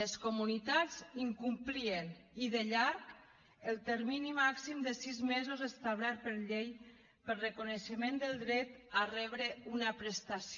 les comunitats incomplien i de llarg el termini màxim de sis mesos establert per llei pel reconeixement del dret a rebre una prestació